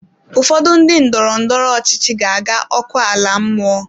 Ụfọdụ ndị ndọrọ ndọrọ ọchịchị ga-aga ọkụ ala mmụọ.